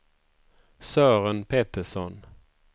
Sören Petersson